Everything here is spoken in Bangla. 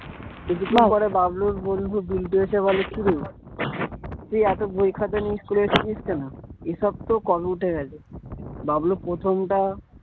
বাবলুর বন্ধু বিল্টু এসে বলে কি রে তুই এতো বই খাতা নিয়ে school এ এসেছিস কেন? এ সব তো কবে উঠে গেছে। বাবলু প্রথমটা